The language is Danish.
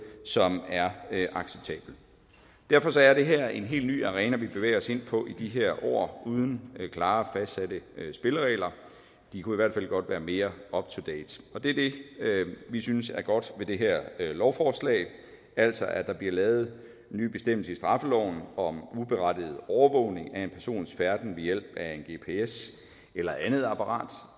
som er acceptabelt derfor er det her en helt ny arena vi bevæger os ind på i de her år uden klare og fastsatte spilleregler de kunne i hvert fald godt være mere up to date og det er det vi synes er godt ved det her lovforslag altså at der bliver lavet en ny bestemmelse i straffeloven om uberettiget overvågning af en persons færden ved hjælp af en gps eller andet apparat